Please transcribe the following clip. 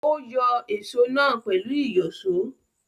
Ó yọ èsó náà pẹ̀lú ìyọ̀ṣó.